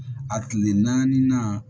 A kile naani na